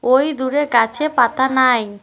ঐ দূরে গাছে পাতা নাই।